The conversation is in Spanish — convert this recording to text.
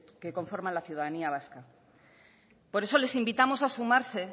que conforman la ciudadanía vasca por eso les invitamos a sumarse